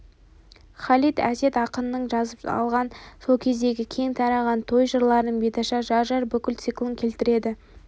халид әсет ақыннан жазып алған сол кезеңдегі кең тараған той жырларының беташар жар-жар бүкіл циклын келтіреді